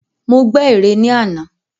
Mo gbè ère ní àná.